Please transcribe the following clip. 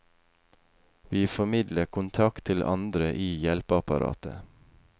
Vi formidler kontakt til andre i hjelpeapparatet.